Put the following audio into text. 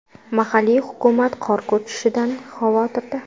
Mahalliy hukumat qor ko‘chishidan xavotirda.